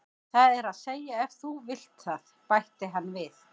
Það er að segja ef þú vilt það, bætti hann við.